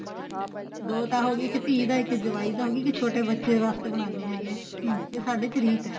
ਦੋ ਤਾਂ ਹੋ ਗਏ ਇੱਕ ਧੀ ਦਾ ਇੱਕ ਜਵਾਈ ਦਾ ਹੋ ਗਿਆ ਇੱਕ ਛੋਟੇ ਬੱਚੇ ਵਾਸਤੇ ਬਣਾਨੇ ਹੈਗੇ ਆ ਹਮ ਇਹ ਸਾਡੇ ਚ ਰੀਤ ਏ